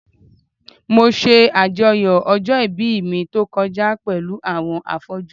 Mo ṣajọyọ̀ ọjọ́ ìbí mi tó kọjá pẹ̀lú àwọn afọ́jú.